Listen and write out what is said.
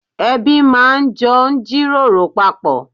Ẹbí máa jọ ń jíròrò papọ̀